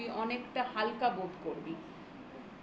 তুই অনেকটা হালকা বোধ করবি।